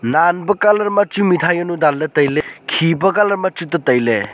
nan pe colour machu mitai jawnu dan tai ley khi pe colour ma chu tetai ley.